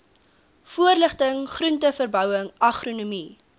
voorligting groenteverbouing agronomie